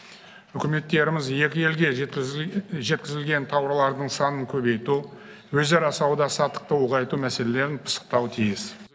үкіметтеріміз екі елге жеткізілген тауарлардың санын көбейту өзара сауда саттықты ұлғайту мәселелерін пысықтауы тиіс